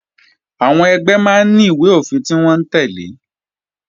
Àwọn ẹgbẹ́ máa ní ìwé-òfin tí wọ́n ń tẹ́lẹ̀